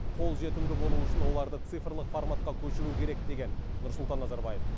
қолжетімді болуы үшін оларды цифрлық форматқа көшіру керек деген нұрсұлтан назарбаев